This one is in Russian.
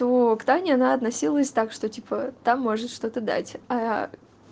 то к тане она относилась так что типа та может что-то дать